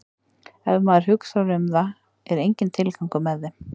Ef maður hugsar um það er enginn tilgangur með þeim.